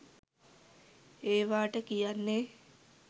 ඒවාට කියන්නේ